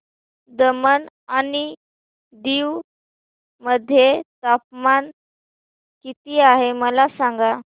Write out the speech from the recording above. दमण आणि दीव मध्ये तापमान किती आहे मला सांगा